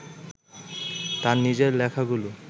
তার নিজের লেখাগুলো